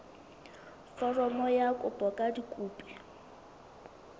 foromo ya kopo ka dikopi